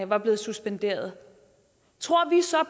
var blevet suspenderet tror vi så